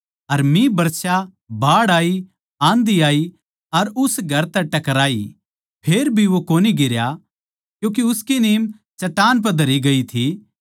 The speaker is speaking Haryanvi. अर मिह बरसया बाढ़ आयी आंधी आई अर उस घर तै टकराई फेर भी वो कोनी गिरया क्यूँके उसकी नीम चट्टान पै धरी ग्यी थी